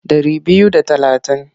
Ɗari biyu da talatin.